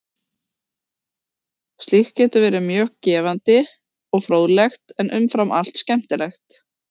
Slíkt getur verið mjög gefandi og fróðlegt en umfram allt skemmtilegt.